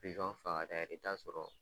i t'a sɔrɔ